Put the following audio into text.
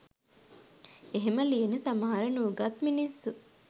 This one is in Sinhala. එහෙම ලියන සමහර නූගත් මිනිස්සු